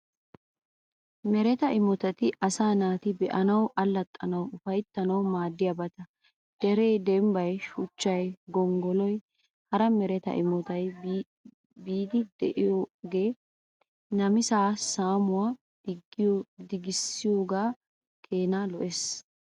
Mereta imotati asaa naati be'anawu, allaxxanawu, ufayttanawu maaddiyaabata. Deree, dembbay, shuchchay, gonggoloynne hara mereta imotata biidi be'iyoogee namisaa saamuwaa dogissiyoogaa keenaa lo'ees.